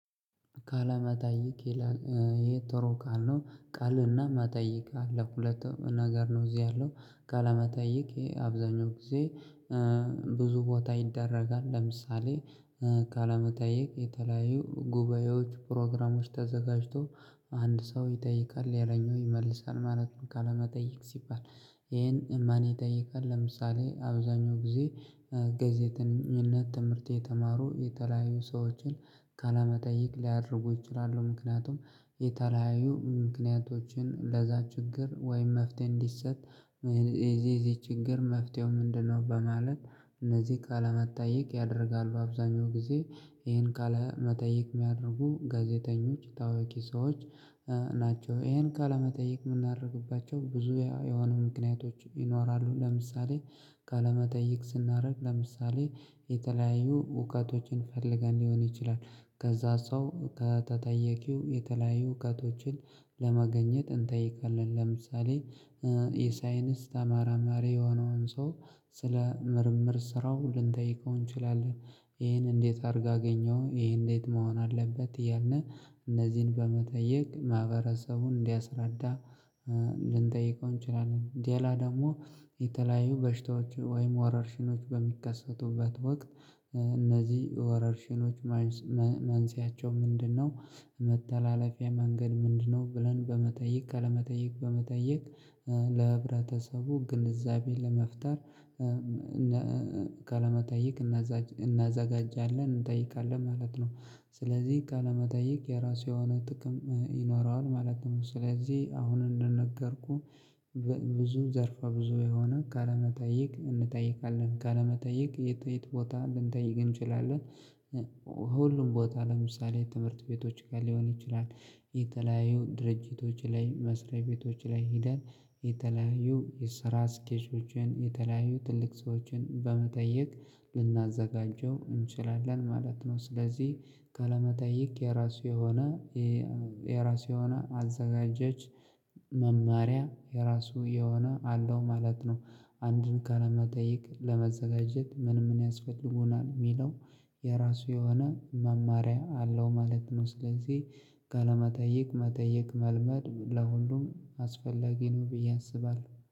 ቃለመጠይቅ ይላል ይህ ጥሩ ቃል ነው ቃልና መጠይቅ አለው ሁለቱም ነገር ነው እዚህ ያለው ቃለመጠይቅ አብዛኛው ጊዜ ብዙ ቦታ ይደረጋል። ለምሳሌ ቃለመጠየቅ የተለያዩ ጉባኤዎች ፕሮግራሞች ተዘጋጅቶ አንድ ሰው ይጠይቃል። ሌላኛው ይመልሳል ማለት ነው ቃለመጠየቅ ሲባል ይሄን ማን ይጠይቃል ለምሳሌ አብዛኛው ጊዜ ጋዜጠኝነት ትምህርት የተማሩ የተለያዩ ሰዎችን ካለመጠየቅ ሊያደርጉ ይችላሉ ምክንያቱም የተለያዩ ምክንያቶችን ለዛ ችግር ወይም መፍትሄ እንዲሰጥ እዚህ እዚህ ችግር መፍትሄው ምንድነው በማለት እነዚህ ቃለመጠይቅ ያደርጋሉ። አብዛኛው ጊዜ ይሄን ቃለመጠይቅ የሚያደርጉ ጋዜጠኞች ታዋቂ ሰዎች ናቸው። ይሄን ቃለመጠይቅ የምናደርግባቸው ብዙ የሆኑ ምክንያቶች ይኖራሉ። ለምሳሌ ካለመጠየቅ ስናደርግ ለምሳሌ የተለያዩ እውቀቶችን ፈልገን ሊሆን ይችላል ከዛ ሰው ከተጠየቂው የተለያዩ እውቀቶችን ለመገኘት እንጠይቃለን። ለምሳሌ የሳይንስ ተመራማሪ የሆነውን ሰው ስለ ምርምር ስራው ልንጠይቀው እንችላለን። ይሄን እንዴት አድርገህ አገኘሁ? ይሄ እንዴት መሆን አለበት? እያልን እነዚህን በመጠየቅ ማህበረሰቡን እንዲያስረዳ ልንጠይቀው እንችላለን ሌላ ደግሞ የተለያዩ በሽታዎች ወይም ወረርሽኖች በሚከሰቱበት ወቅት እነዚህ ወረርሽኖች መንስኤያቸው ምንድነው መተላለፊያ መንገድ ምንድነው ብለን በመጠየቅ ካለመጠየቅ በመጠየቅ ለህብረተሰቡ ግንዛቤ ለመፍጠር ቃለመጠይቅ እናዘጋጃለን፣ እንጠይቃለን ማለት ነው። ስለዚህ ቃለመጠይቅየራሱ የሆነ ጥቅም ይኖረዋል ማለት ነው። ስለዚህ አሁን እንደነገርኩህ ብዙ ዘርፋ ብዙ የሆነ ካለመጠየቅ እንጠይቃለን። ቃለመጠይቅ የት የት ቦታ ልንጠይቅ እንችላለን ሁሉም ቦታ ለምሳሌ የትምህርት ቤቶች ጋር ሊሆን ይችላል። የተለያዩ ድርጅቶች ላይ መስሪያ ቤቶች ላይ ሄደን የተለያዩ የሰራ ስኬጆችን የተለያዩ ትልቅ ሰዎችን በመጠየቅ ልናዘጋጀው እንችላለን ማለት ነው። ስለዚህ ቃለመጠይቅ የራሱ የሆነ የራሱ የሆነ አዘጋጀች መማሪያ የራሱ የሆነ አለው ማለት ነው። አንድን ከለመጠየቅ ለመዘጋጀት ምን ምን ያስፈልጉናል የሚለው የራሱ የሆነ መማሪያ አለው ማለት ነው። ስለዚህ ቃለመጠይቅ መጠየቅ መልመድ ለሁሉም አስፈላጊ ነው ብዬ አስባለሁ።